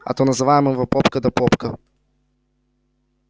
а то называем его попка да попка